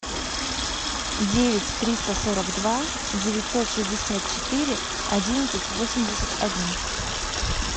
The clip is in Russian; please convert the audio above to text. девять триста сорок два девятьсот шестьдесят четыре одиннадцать восемьдесят один